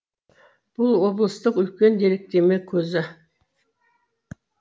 бұл облыстың үлкен деректеме көзі